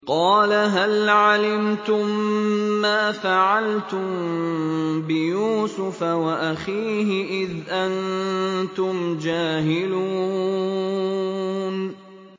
قَالَ هَلْ عَلِمْتُم مَّا فَعَلْتُم بِيُوسُفَ وَأَخِيهِ إِذْ أَنتُمْ جَاهِلُونَ